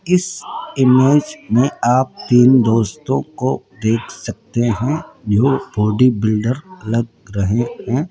इस इमेज में आप तीन दोस्तों को देख सकते हैं जो बॉडी बिल्डर लग रहे हैं।